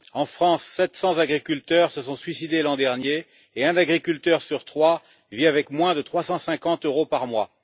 En France 700 agriculteurs se sont suicidés l'an dernier et un agriculteur sur trois vit avec moins de 350 euros par mois.